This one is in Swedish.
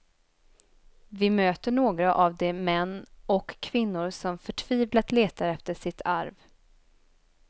Vi möter några av de män och kvinnor som förtvivlat letar efter sitt arv.